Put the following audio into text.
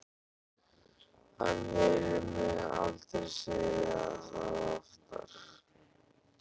Hann heyrir mig aldrei segja það oftar.